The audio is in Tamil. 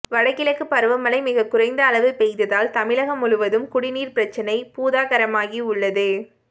வடகிழக்கு பருவமழை மிகக்குறைந்த அளவு பெய்ததால் தமிழகம் முழுவதும் குடிநீர் பிரச்சனை பூதாகரமாகி உள்ளது